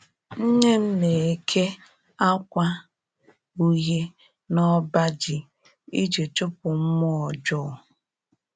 Nne m na-eke akwa uhie n'ọbaji iji chụpụ mmụọ ọjọọ